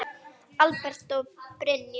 Albert og Brynja.